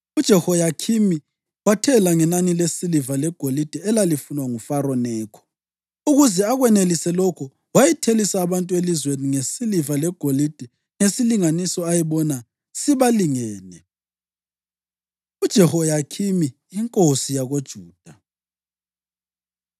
UJehoyakhimi wathela ngenani lesiliva legolide elalifunwa nguFaro Nekho. Ukuze akwenelise lokho wayethelisa abantu elizweni ngesiliva legolide ngesilinganiso ayebona sibalingene. UJehoyakhimi Inkosi YakoJuda